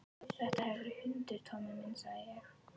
Þetta hefur verið hundur, Tommi minn, sagði ég.